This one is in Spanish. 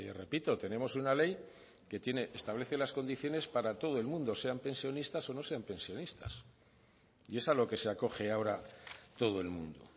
repito tenemos una ley que establece las condiciones para todo el mundo sean pensionistas o no sean pensionistas y es a lo que se acoge ahora todo el mundo